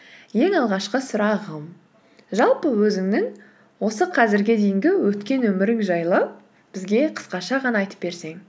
ең алғашқы сұрағым жалпы өзіңнің осы қазірге дейінгі өткен өмірің жайлы бізге қысқаша ғана айтып берсең